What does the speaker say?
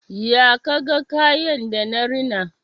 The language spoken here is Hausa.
Ya ka ga kayan da na rina?